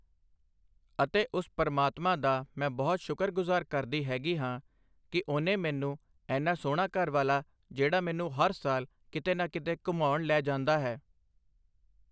ਅਤੇ ਉਸ ਪ੍ਰਮਾਤਮਾ ਦਾ ਮੈਂ ਬਹੁਤ ਸੁਕਰਗੁਜ਼ਾਰ ਕਰਦੀ ਹੈਗੀ ਹਾਂ ਕਿ ਉਹਨੇ ਮੈਨੂੰ ਐਨਾ ਸੋਹਣਾ ਘਰਵਾਲਾ ਜਿਹੜਾ ਮੈਨੂੰ ਹਰ ਸਾਲ ਕਿਤੇ ਨਾ ਕਿਤੇ ਘੁੰਮਾਉਣ ਲੈ ਜਾਂਦਾ ਹੈ